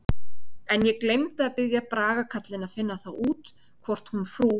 En ég gleymdi að biðja Braga karlinn að finna það út hvort hún frú